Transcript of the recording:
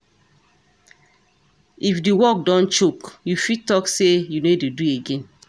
If di work don choke, you fit talk sey you no dey do again